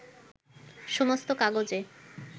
সমস্ত কাগজে